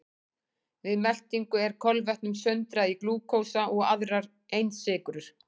Við meltingu er kolvetnum sundrað í glúkósa og aðrar einsykrur.